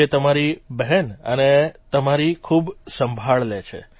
જે તમારી બહેન અને તમારી ખૂબ સંભાળ લે છે